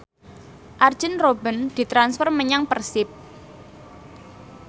Arjen Robben ditransfer menyang Persib